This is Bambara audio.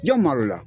Jɔn maloya